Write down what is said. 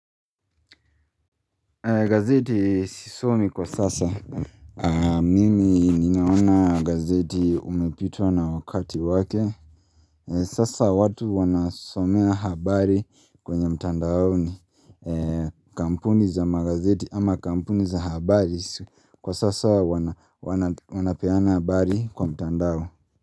Gazeti sisomi kwa sasa Mimi ninaona gazeti umepitwa na wakati wake Sasa watu wanasomea habari kwenye mtandaoni kampuni za magazeti ama kampuni za habari Kwa sasa wanapeana habari kwa mtandao.